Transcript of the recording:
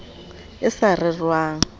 e sa rerwang a sa